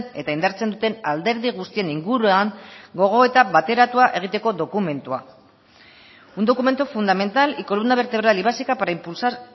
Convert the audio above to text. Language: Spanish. eta indartzen duten alderdi guztien inguruan gogoeta bateratua egiteko dokumentua un documento fundamental y columna vertebral y básica para impulsar